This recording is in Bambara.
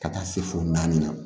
Ka taa se fo naani ma